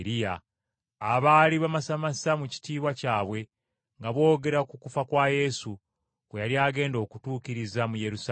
abaali bamasamasa mu kitiibwa kyabwe nga boogera ku kufa kwa Yesu, kwe yali agenda okutuukiriza mu Yerusaalemi.